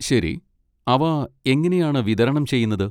ശരി, അവ എങ്ങനെയാണ് വിതരണം ചെയ്യുന്നത്?